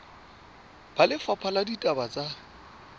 ba lefapha la ditaba tsa